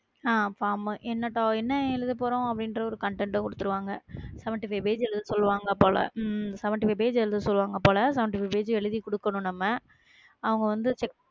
அஹ் ஆ என்ன எழுதப் போறோம் அப்படின்ற ஒர content அ குடுத்திடுவாங்க seventy-five page எழுது சொல்லுவாங்க போல உம் seventy-five page எழுத சொல்லுவாங்க போல seventy-five page எழுதிக் கொடுக்கணும் நம்ம அவங்க வந்து